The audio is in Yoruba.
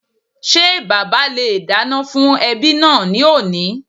Ṣé bàbá le è dáná fún ẹbí náà ní òní